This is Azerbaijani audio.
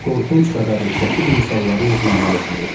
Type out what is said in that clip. Qorxunc xəbərin şoku insanların üzündən oxunurdu.